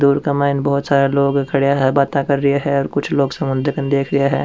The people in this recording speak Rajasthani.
दूर क माइन बहुत सारा लोग खड़ा है बाता कर रा है कुछ लोग समुन्दर को देख रा है।